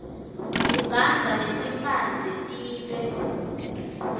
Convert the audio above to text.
ugandza letimphandze tibe